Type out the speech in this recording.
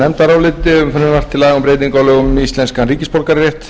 laga um breytingu á lögum um íslenskan ríkisborgararétt